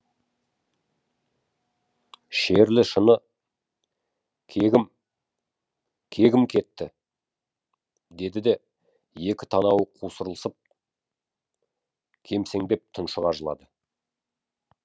шерлі шыны кегім кегім кетті деді де екі танауы қусырылып кемсеңдеп тұншыға жылады